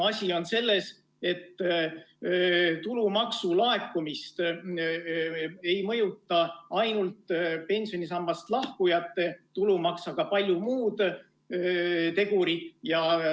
Asi on selles, et tulumaksu laekumist ei mõjuta ainult pensionisambast lahkujate tulumaks, vaid ka paljud muud tegurid.